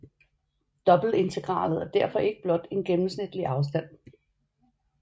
Dobbeltintegralet er derfor ikke blot en gennemsnitlig afstand